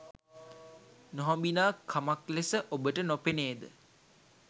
නොහොබිනා කමක් ලෙස ඔබට නොපෙනේද?